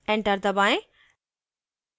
enter दबाएँ